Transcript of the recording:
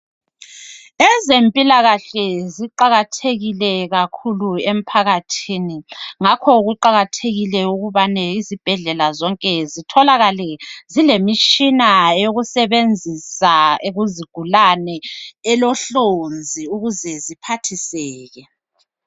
Ezempilakahle ziqakathekile kakhulu emphakathini. Ngakhoke kuqakathekile ukubane izibhedlela zonke zitholakale zilemitshina yokusebenzisa kuzigulane. Elohlonzi ukuze ziphathiseke.